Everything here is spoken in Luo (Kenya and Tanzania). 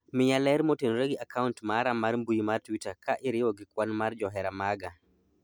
miya ler motenore gi akant mara mar mbui mar twita ka iriwo gi kwan mar johera maga